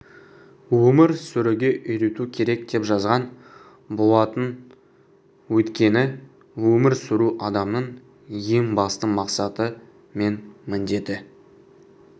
өмір сүруге үйрету керек деп жазған болатын өйткені өмір сүру адамның ең басты мақсаты мен міндеті